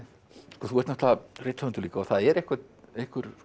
þú ert náttúrulega rithöfundur líka og það er einhver einhver